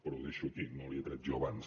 però ho deixo aquí no l’hi he tret jo abans